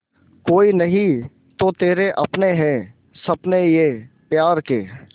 कोई नहीं तो तेरे अपने हैं सपने ये प्यार के